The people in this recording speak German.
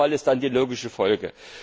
Preisverfall ist dann die logische Folge.